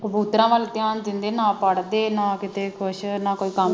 ਕਬੂਤਰਾਂ ਵਲ ਧਿਆਨ ਦਿੰਦੇ ਨਾ ਪੜਦੇ ਨਾ ਕਿਤੇ ਕੁਛ ਨਾ ਕੋਈ ਕੰਮ